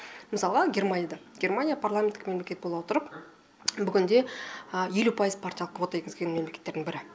мысалға германияда германия парламенттік мемлекет бола тұрып бүгінде елу пайыз партиялық квота енгізген мемлекеттердің бірі